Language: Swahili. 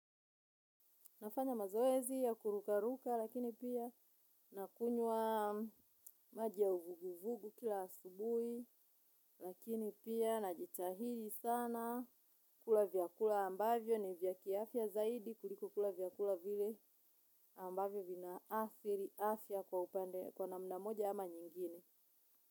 Nafanya mazoezi ya kurukaruka lakini pia nakunywa maji ya uvuguvugu kila asubuhi lakini pia najitahidi sana kula vyakula ambavyo ni vya kiafya zaidi kuliko kula vyakula vile ambavyo vinaathiri afya kwa upande kwa namna moja ama nyingine.